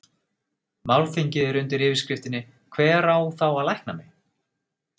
Málþingið er undir yfirskriftinni Hver á þá að lækna mig?